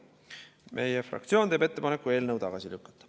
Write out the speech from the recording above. Meie fraktsioon teeb ettepaneku eelnõu tagasi lükata.